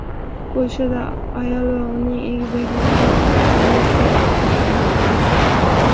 Polshada ayol va uning egizaklarini ikki poyezd urib yubordi.